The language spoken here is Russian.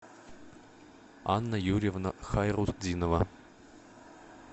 анна юрьевна хайрутдинова